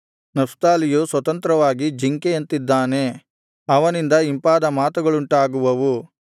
ನಫ್ತಾಲಿಯು ಸ್ವತಂತ್ರವಾಗಿ ಜಿಂಕೆಯಂತಿದ್ದಾನೆ ಅವನಿಂದ ಇಂಪಾದ ಮಾತುಗಳುಂಟಾಗುವವು